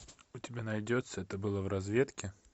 у тебя найдется это было в разведке